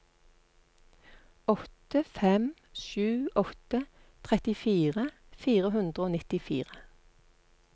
åtte fem sju åtte trettifire fire hundre og nittifire